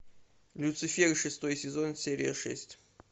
люцифер шестой сезон серия шесть